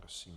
Prosím.